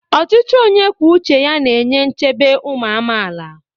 Ọchịchị onye kwuo uche ya na-enye nchebe ụmụ amaala.